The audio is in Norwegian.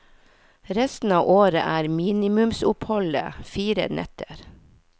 Resten av året er minimumsoppholdet fire netter.